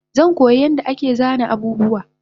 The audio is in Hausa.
Zankoya yadda ake sana abubuwa